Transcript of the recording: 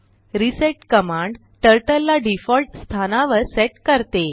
reset command turtle ला default स्थानावर set करते